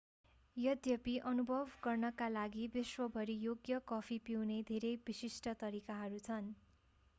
यद्यपि अनुभव गर्नका लागि विश्वभरि योग्य कफी पिउने धेरै विशिष्ट तरिकाहरू छन्